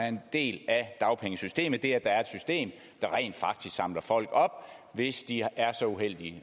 en del af dagpengesystemet nemlig det at der er et system der rent faktisk samler folk op hvis de er så uheldige